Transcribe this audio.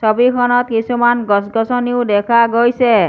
ছবিখনত কিছুমান গছ গছনিও দেখা গৈছে।